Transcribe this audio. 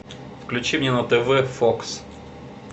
включи мне на тв фокс